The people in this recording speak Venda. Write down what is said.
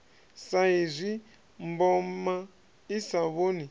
saizwi mboma i sa vhoni